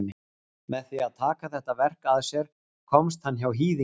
með því að taka þetta verk að sér komst hann hjá hýðingu